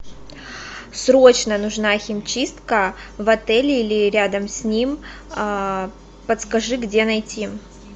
срочно нужна химчистка в отеле или рядом с ним подскажи где найти